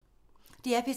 DR P3